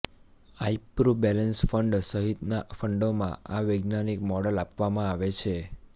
iPru balance fund સહિતનાં ફંડોમાં આ વૈજ્ઞાનિક મોડલ અપનાવવામાં આવે છે